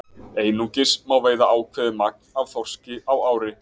Einungis má veiða ákveðið magn af þorski á ári.